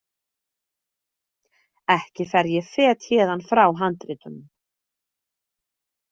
Ekki fer ég fet héðan frá handritunum!